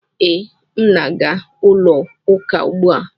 Ee, m na-aga ụlọ ụka ugbu a.